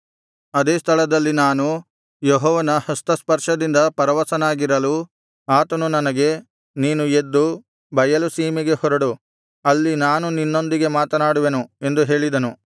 ಅದೇ ಸ್ಥಳದಲ್ಲಿ ನಾನು ಯೆಹೋವನ ಹಸ್ತಸ್ಪರ್ಶದಿಂದ ಪರವಶನಾಗಿರಲು ಆತನು ನನಗೆ ನೀನು ಎದ್ದು ಬಯಲು ಸೀಮೆಗೆ ಹೊರಡು ಅಲ್ಲಿ ನಾನು ನಿನ್ನೊಂದಿಗೆ ಮಾತನಾಡುವೆನು ಎಂದು ಹೇಳಿದನು